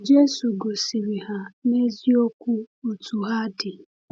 Jésù gosiri ha n’eziokwu otú ha dị